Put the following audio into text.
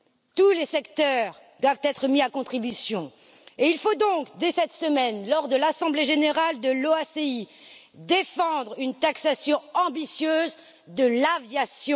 Tous les secteurs doivent être mis à contribution, et il faut donc, dès cette semaine, lors de l'assemblée générale de l'OACI, défendre une taxation ambitieuse de l'aviation.